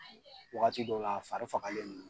Wagati dɔw la a fari fagalen do.